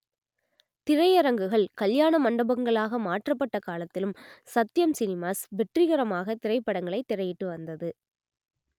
திரையரங்குகள் கல்யாண மண்டபங்களாக மாற்றப்பட்ட காலத்திலும் சத்யம் சினிமாஸ் வெற்றிகரமாக திரைப்படங்களை திரையிட்டு வந்தது